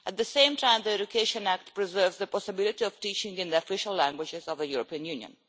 At the same time, the Education Act preserves the possibility of teaching in the official languages of the European Union.